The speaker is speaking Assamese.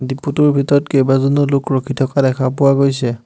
ডেপো টোৰ ভিতৰত কেইবাজনো লোক ৰখি থকা দেখা পোৱা গৈছে।